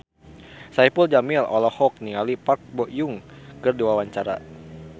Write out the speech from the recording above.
Saipul Jamil olohok ningali Park Bo Yung keur diwawancara